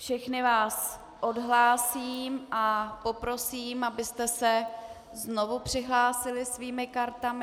Všechny vás odhlásím a poprosím, abyste se znovu přihlásili svými kartami.